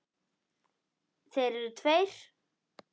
Þeir eru tveir.